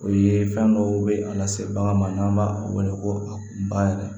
O ye fɛn dɔw be a lase bagan ma n'an b'a wele ko a yɛrɛ